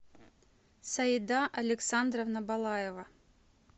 саида александровна балаева